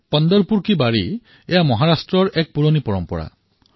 পণ্টৰপুৰৰ ৱাৰী মহাৰাষ্ট্ৰৰ এক পুৰণি পৰম্পৰা